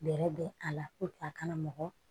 Bɛrɛ bɛ a la a kana mɔgɔ